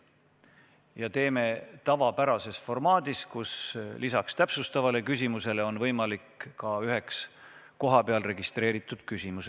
Ja viime infotunni läbi tavapärases formaadis, kus lisaks täpsustavale küsimusele on võimalik esitada ka üks kohapeal registreeritud küsimus.